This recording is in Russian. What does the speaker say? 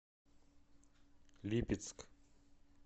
липецк